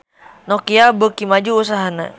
Nokia beuki maju usahana